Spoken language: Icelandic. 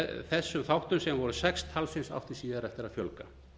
þessum þáttum sem voru sex talsins áttu síðar eftir að fjölga